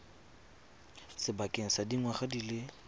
sebakeng sa dingwaga di le